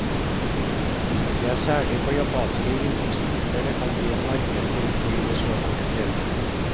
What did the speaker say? Det er særlig på japanske innenriksruter det kan bli et marked for et fly med så mange seter.